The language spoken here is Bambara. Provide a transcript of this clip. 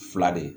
Fila de